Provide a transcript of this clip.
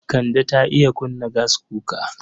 Kande ta iya kunna gaskuka.